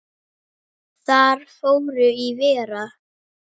Þar fór í verra.